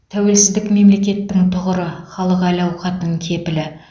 тәуелсіздік мемлекеттің тұғыры халық әл ауқатының кепілі